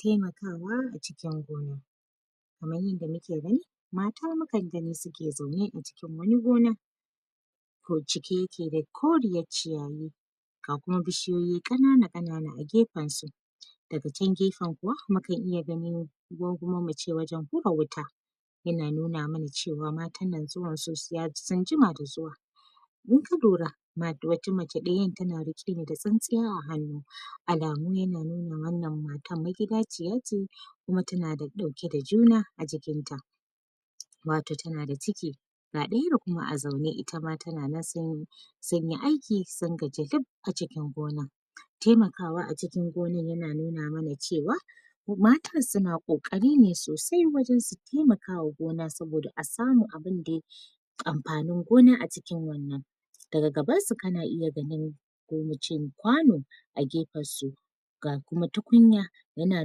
Taimakawa a cikin gona kaman yadda mu ke gani mata mukan gani suke zaune a cikin wani gona aiko cike yake da koriyar ciyayi ga kuma bishiyoyi ƙanana ƙanana a gefensu, daga can gefen kuwa mukan iya ganin ko kuma muce wajen hura wuta, yana nuna mana cewa matan nan zuwan su sun jima da zuwa, idan ka lura da wata macen ɗaya tana riƙe da tsintsiya a hannu, alamu ya na nuna wannan matan magidaciya ce kuma ta na da ɗauke da juna a jikinta, matar ta na da ciki ga ɗayar kuma a zaune itama tana nan sunyi sunyi aiki sun gaji duk a cikin gona, taimakawa a cikin gonai ya na nuna mana ce wa matan su na ƙoƙari ne sosai wajen su taimakawa gona saboda a samu abin dai amfanin gona a cikin wannan, daga gabansu kana iya ganin ko muce kwano a gefensu. ga kuma tukunya ya na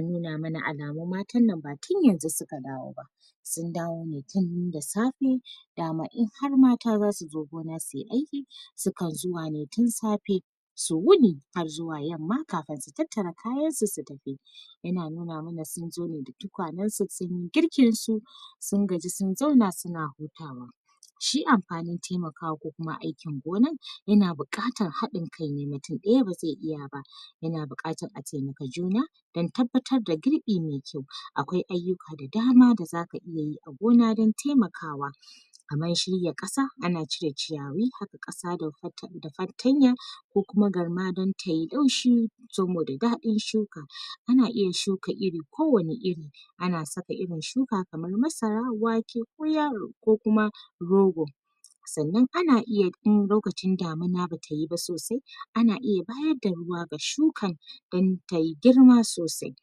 nuna mana alamun matannan ba tun yanzu suka dawo ba, sun dawo ne tun da safe dama in har mata za su zo suyi aiki, sukan zuwa ne tun safe su wuni har zuwa yamma kafin su tattara kayansu su tafi, ya na nuna mana sun zo ne da tukanensu sunyi girkinsu, sun gaji sun zauna su na hutawa, shi amfanin taimakawa ko kuma aikin gonan ya na buƙatar haɗin kai ne, mutum ɗaya ba zai iya ba yana buƙatan a taimaka juna don tabbatar da girɓi mai kyau, akwai ayyuka da dama da za ka iya yi a gona don taimakawa kamar shirya ƙasa ana cire ciyayi, haƙa ƙasa da far.. da fartanya, ko kuma galma don tayi danshi saboda daɗin shuka, ana iya shuka iri kowane iri ana saka irin shuka kamar: Masara, wake ko yalo ko kuma rogo, sannan ana iya in lokacin damuna batayi ba sosai ana iya bayarda ruwa ga shuka don tai girma sosai,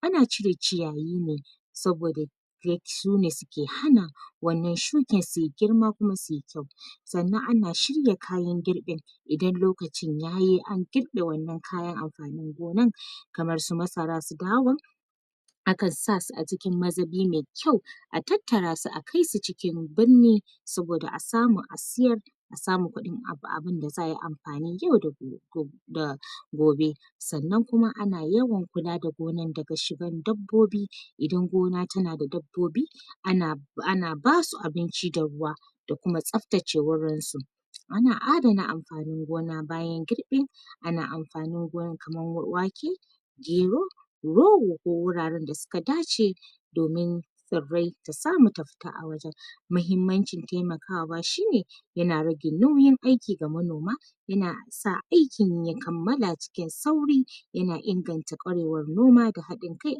ana cire ciyayi ne saboda sune suke hana wannan shuken suyi girma kuma suyi kyau, sannan ana shirya kayan girɓin idan lokacin yayi an girɓe wannan kayan amfanin gonan kamar su masara su dawa akan sa su a cikin mazubi mai kyau a tattarasu a kai su cikin birni saboda a samu a siyar a samu kuɗin ab...abunda za'ai amfani yau da go..da...go da gobe, sannan kuma ana yawan kula da gonan daga shigan dabbobi, idan gona ta na da dabbobi ana...ana basu abinci da ruwa da kuma tsaftace wurinsu, ana adana amfanin gona bayan girɓi ana amfanin gonan kaman wake, gero, rogo ko wuraren da suka dace domin tsirrai ta samu ta fita a wajen, mahimmancin taimakawa shine ya na rage nauyin aiki ga manoma, ya na sa aikin ya kammala cikin sauri, ya na inganta ƙwarewar noma da haɗin kai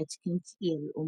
a cikin al'umma.